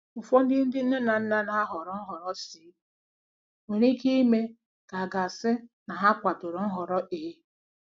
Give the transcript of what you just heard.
Ụfọdụ ndị nne na nna na-ahọrọ Nhọrọ C nwere ike ime ka a ga-asị na ha kwadoro Nhọrọ A.